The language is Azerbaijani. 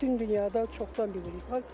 Bütün dünyada çoxdan bilirik var.